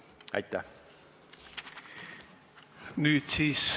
Aitäh!